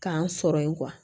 K'an sɔrɔ yen